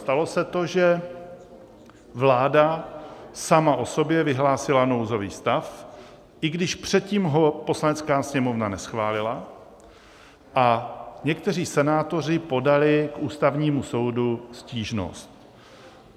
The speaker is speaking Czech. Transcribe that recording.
Stalo se to, že vláda sama o sobě vyhlásila nouzový stav, i když předtím ho Poslanecká sněmovna neschválila, a někteří senátoři podali k Ústavnímu soudu stížnost.